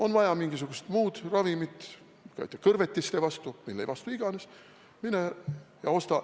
On vaja mingisugust muud ravimit, kõrvetiste vastu, mille vastu iganes – mine ja osta.